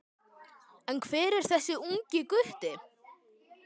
En hver er þessi ungi gutti?